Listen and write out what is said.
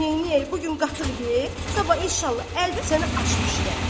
Neyniyək, bu gün qatıq ye, sabah inşallah əlbət sənə aş bişirərəm."